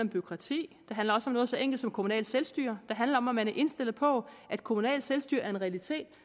bureaukrati det handler også om noget så enkelt som kommunalt selvstyre det handler om om man er indstillet på at kommunalt selvstyre er en realitet